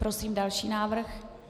Prosím další návrh.